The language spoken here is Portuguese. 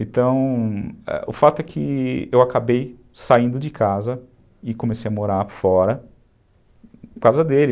Então, o fato é que eu acabei saindo de casa e comecei a morar fora, por causa dele.